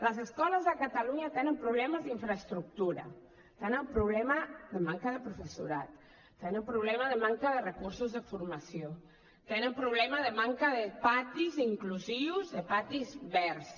les escoles a catalunya tenen problemes d’infraestructura tenen problema de manca de professorat tenen problema de manca de recursos de formació tenen problema de manca de patis inclusius de patis verds